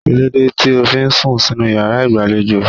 Kíló dé tí o fi sùn sínú yàrá ìgbàlejò?